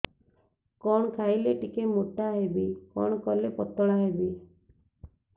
କଣ ଖାଇଲେ ଟିକେ ମୁଟା ହେବି କଣ କଲେ ପତଳା ହେବି